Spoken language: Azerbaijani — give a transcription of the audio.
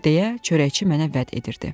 deyə çörəkçi mənə vəd edirdi.